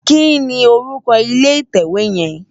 Kini órúkò ilé itèwé yèn?